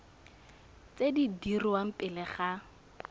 tse di dirwang pele ga